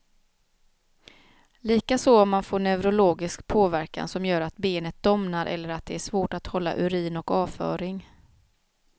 Likaså om man får neurologisk påverkan som gör att benet domnar eller att det är svårt att hålla urin och avföring.